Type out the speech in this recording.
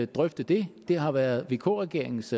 drøfte det det har været vk regeringens